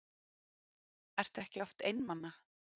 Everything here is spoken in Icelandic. Ertu ekki oft einmana?